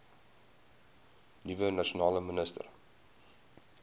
nuwe nasionale minister